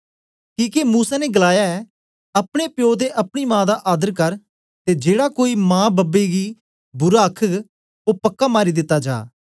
किके मूसा ने गलाया ऐ अपने प्यो ते अपनी मां दा आदर कर ते जेड़ा कोई मांप्पे गी बुरा आखघ ओ पक्का मारी दिता जा